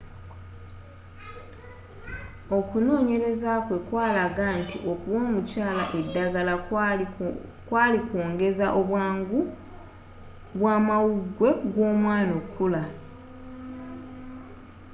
okunonyeleza kwe kwalaga nti okuwa omukyala eddagala kwali kwongeza obwangu bwamawugwe gw'omwana okukula